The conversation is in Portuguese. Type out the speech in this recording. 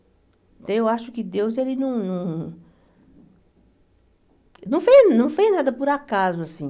Então eu acho que Deus, ele não não... Não fez não fez nada por acaso, assim.